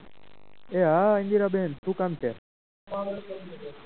એ hi ઇન્દિરાબેન શું કામ છે.